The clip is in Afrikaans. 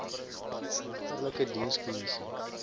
regterlike dienskom missie